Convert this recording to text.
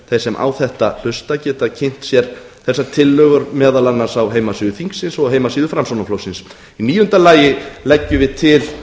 þeir sem á þetta hlusta geta kynnt sér þessar tillögur meðal annars á heimasíðu þingsins og heimasíðu framsóknarflokksins í níunda lagi leggjum við til